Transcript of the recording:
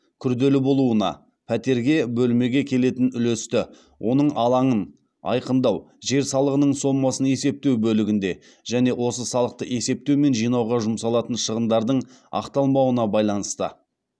күрделі болуына келетін үлесті оның алаңын айқындау жер салығының сомасын есептеу бөлігінде және осы салықты есептеу мен жинауға жұмсалатын шығындардың ақталмауына байланысты